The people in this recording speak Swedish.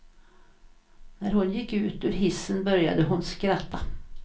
När hon gick ut ur hissen började hon skratta.